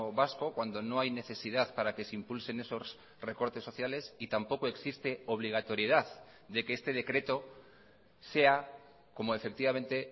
vasco cuando no hay necesidad para que se impulsen esos recortes sociales y tampoco existe obligatoriedad de que este decreto sea como efectivamente